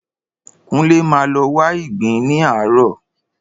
Kúnlé máa lọ wá ìgbín ní àárò.